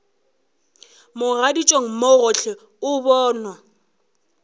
mogaditšong mo gohle o bonwa